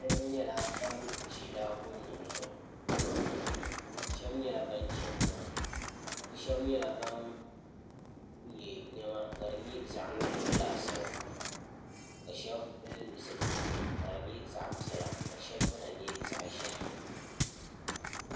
niraba nyɛla ban ʒi laakumi nim zuɣu shab nyɛla ban chɛni tiŋa bi shab nyɛla ban yɛ niɛma ka di nyɛ zaŋ nuɣso laasabu ka shab pili zipiliti ka di nyɛ zaɣ piɛla ka shab dina nyɛ zaɣ ʒiɛhi